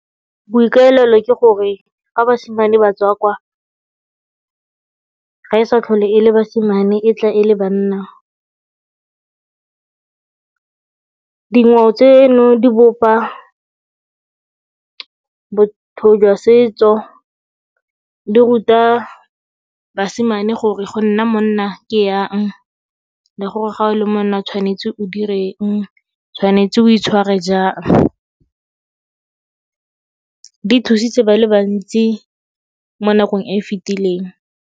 Boikaelelo ke gore fa basimane batswa kwa, ga e sa tlhole e le basimane e tla e le banna. Dingwao tseno di bopa botho jwa setso, di ruta basimane gore go nna monna ke yang le gore ga o le monna tshwanetse o direng, tshwanetse o itshware jang. Di thusitse ba le bantsi mo nakong e e fetileng.